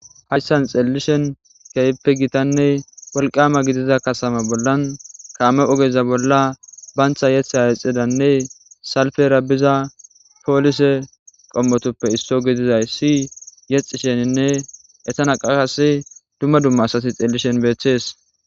Hayssan xellishin keehippe giittanne wolqqama gidida katamm bollan kaame oogeza bollan bantta yeththa yeexiza salippera biza polisse qoommotuppe isso gididyssi yeexishe bizoysanne eettanni qase dumma dumma asay bishin beetes